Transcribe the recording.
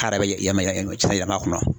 yɛlɛma a kɔnɔ.